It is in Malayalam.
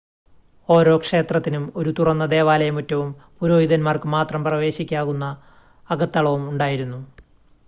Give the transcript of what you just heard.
ഓരോ ക്ഷേത്രത്തിനും ഒരു തുറന്ന ദേവാലയ മുറ്റവും പുരോഹിതന്മാർക്ക് മാത്രം പ്രവേശിക്കാവുന്ന അകത്തളവും ഉണ്ടായിരുന്നു